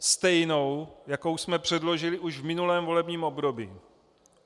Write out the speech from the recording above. Stejnou, jakou jsme předložili už v minulém volebním období.